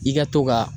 I ka to ka